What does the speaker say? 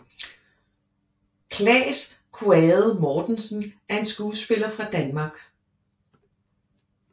Claes Quaade Mortensen er en skuespiller fra Danmark